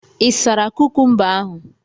Ị sara kukumba ahụ?